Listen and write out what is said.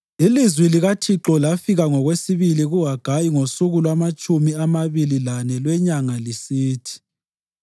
Ilizwi likaThixo lafika ngokwesibili kuHagayi ngosuku lwamatshumi amabili lane lwenyanga lisithi: